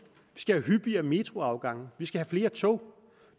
vi skal have hyppigere metroafgange vi skal have flere tog